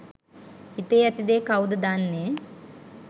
හිතේ ඇතිදේ කවුද දන්නෙ